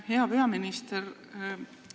Hea peaminister!